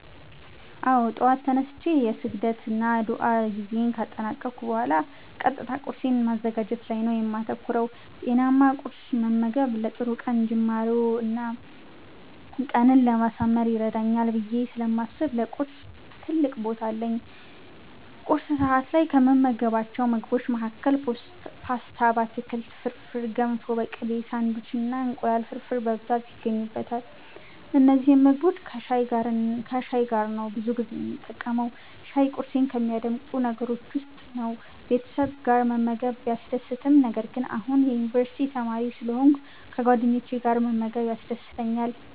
አዎ! ጠዋት ተነስቼ የስግደት እና ዱዓ ጊዜየን ካጠናቀኩ ቡሃላ ቀጥታ ቁርሴን ማዘጋጀት ላይ ነው የማተኩረው። ጤናማ ቁርስ መመገብ ለጥሩ ቀን ጅማሮ እና ቀኔን ለማሳመር ይረዳኛል ብየ ስለማስብ ለቁርስ ትልቅ ቦታ አለኝ። ቁርስ ሰዐት ላይ ከምመገባቸው ምግቦች መሀከል ፓስታ በአትክልት፣ ፍርፍር፣ ገንፎ በቅቤ፣ ሳንዲዊች እና እንቁላል ፍርፍር በብዛት ይገኙበታል። እነዚህን ምግቦች ከሻይ ጋር ነው ብዙ ጊዜ የምጠቀመው። ሻይ ቁርሴን ከሚያደምቁ ነገሮች ውስጥ ነው። ቤተሰብ ጋር መመገብ ቢያስደስትም ነገር ግን አሁን የዩኒቨርስቲ ተማሪ ስለሆንኩ ከጓደኞቼ ጋር መመገብ ያስደስተኛል።